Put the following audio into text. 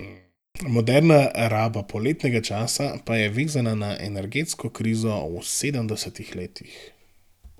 Moderna raba poletnega časa pa je vezana na energetsko krizo v sedemdesetih letih.